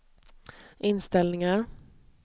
inställningar